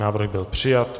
Návrh byl přijat.